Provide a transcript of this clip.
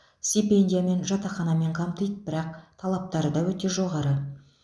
стипендиямен жатақханамен қамтиды бірақ талаптары да өте жоғары